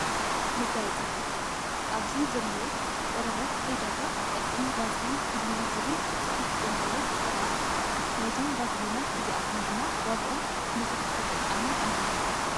መጋየፂታት፦ ኣብዚ ዘለው ቆርበት ከይደርውቅ ዝጠቅም ቫዚልን ብሉ ዝብል ፅሑፍ ዘለዎ ቅብኣት እዩ። ናይዞም ቫርሊናት እዚኣቶም ድማ ዋገኦም ብዙሕ ተጠቃሚ ኣለዎም።